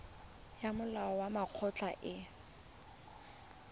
ya molao wa mekgatlho e